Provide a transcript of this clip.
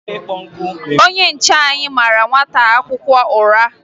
Onye nche anyị mara nwata akwụkwọ ụra